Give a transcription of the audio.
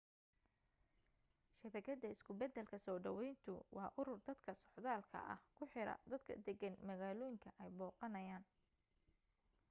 shabakada isku beddelka soo dhawayntu waa urur dadka socdaalka ah ku xira dadka deggan magaalooyinka ay booqanayaan